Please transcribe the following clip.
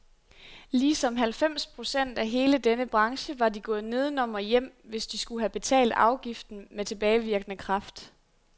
Ligesom halvfems procent af hele denne branche var de gået nedenom og hjem, hvis de skulle have betalt afgiften med tilbagevirkende kraft.